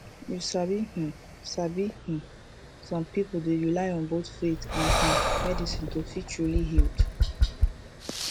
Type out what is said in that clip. you sabi um sabi um som pipul dey rely on both faith and um medicine to feel truly healed